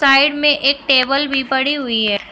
Side में एक table भी पड़ी हुई है।